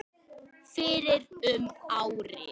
fyrir um ári.